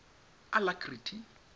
alacrity